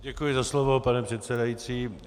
Děkuji za slovo, pane předsedající.